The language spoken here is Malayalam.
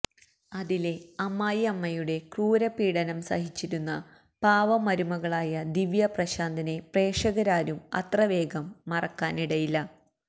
അതിലെ അമ്മായി അമ്മയുടെ ക്രൂര പീഡനം സഹിച്ചിരുന്ന പാവം മരുകളായ ദിവ്യ പ്രശാന്തനെ പ്രേക്ഷകരാരും അത്ര വേഗം മറക്കാൻ ഇടയില്ല